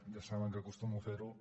ja saben que acostumo a fer ho